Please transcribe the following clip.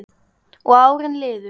Og árin liðu.